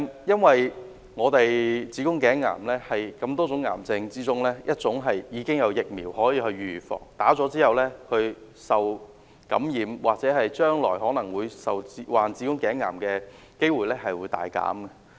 因為子宮頸癌是多種癌症中，已經有疫苗可以預防的，而且接種後受感染或將來患子宮頸癌的機會均會大減。